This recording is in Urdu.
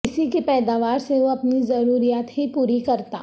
اسی کی پیداوار سے وہ اپنی ضروریات ہی پوری کرتا